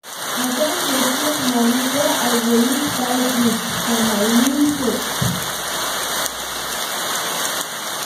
I don dey save moni wey I go use buy goods for my new shop.